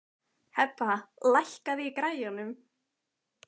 Hebba, lækkaðu í græjunum.